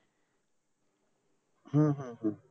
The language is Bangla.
হম হম হম